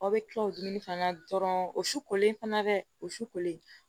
Aw bɛ kila dumuni fana na dɔrɔn o su kolen fana dɛ o su kolen